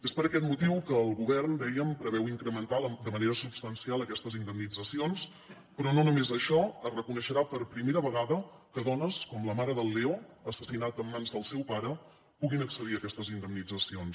és per aquest motiu que el govern dèiem preveu incrementar de manera substancial aquestes indemnitzacions però no només això es reconeixerà per primera vegada que dones com la mare del leo assassinat en mans del seu pare puguin accedir a aquestes indemnitzacions